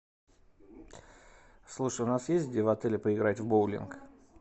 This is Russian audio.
слушай у нас есть где в отеле поиграть в боулинг